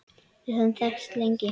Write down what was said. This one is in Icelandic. Við höfum þekkst lengi.